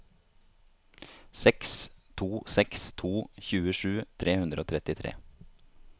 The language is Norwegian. seks to seks to tjuesju tre hundre og trettitre